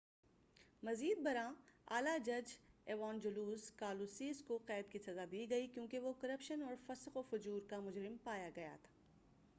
مزید بر آں اعلیٰ جج ایوانجلوس کالوسیس کو قید کی سزا دی گئی کیوں کہ وہ کرپشن اور فسق و فجور کا مجرم پایا گیا